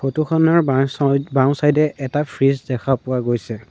Photo খনৰ বাইচইত ত বাওঁ চাইড এ এটা ফ্ৰিজ দেখা পোৱা গৈছে।